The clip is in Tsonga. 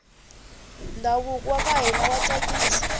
ndhavuko waka hina wa tsakisa